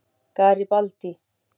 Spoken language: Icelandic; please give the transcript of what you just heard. Garibaldi